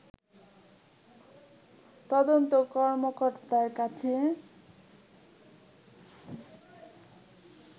তদন্ত কর্মকর্তার কাছে